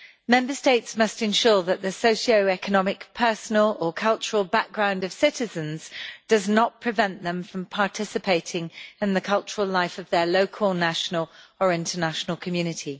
Member States must ensure that the socio economic, personal or cultural background of citizens does not prevent them from participating in the cultural life of their local, national or international community.